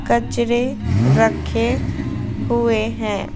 कचरे रखे हुए हैं।